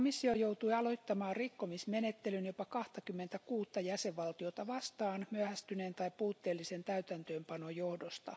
Komissio joutui aloittamaan rikkomismenettelyn jopa 26 jäsenvaltiota vastaan myöhästyneen tai puutteellisen täytäntöönpanon johdosta.